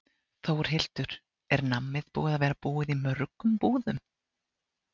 Þórhildur: Er nammið búið að vera búið í mörgum búðum?